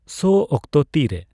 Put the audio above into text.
ᱥᱳ ᱚᱠᱛᱚ ᱛᱤᱨᱮ